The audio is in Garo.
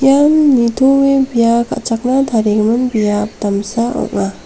ian nitoe bia ka·chakna tarigimin biap damsa ong·a.